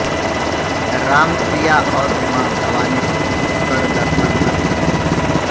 राम सीया और उमा भवानी कर दर्शन हर्षाये